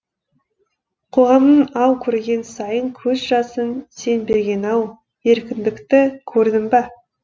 қоғамның ау көрген сайын көз жасын сен берген ау еркіндікті көрдім ба